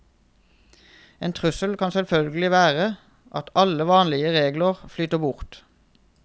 En trussel kan selvfølgelig være at alle vanlige regler flyter bort.